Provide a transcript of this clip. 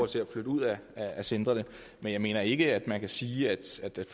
til at flytte ud af centrene men jeg mener ikke at man kan sige at